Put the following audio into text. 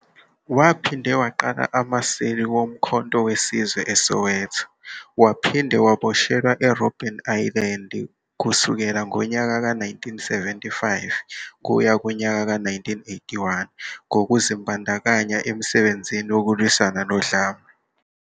Waphinde waqala amaseli woMkhonto WeSizwe eSoweto, waphinde waboshelwa e-Robben Island kusukela ngonyaka ka-1975 kuya ku-1981 ngokuzibandakanya emisebenzini yokulwisana nodlame.